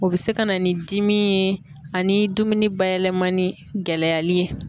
O bɛ se ka na ni dimi ye ani dumuni bayɛlɛmani gɛlɛyali ye.